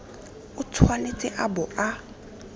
o tshwanetse a bo a